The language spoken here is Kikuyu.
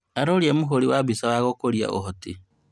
Aroria mũhuri wa mbica wa gũkũria ũhoti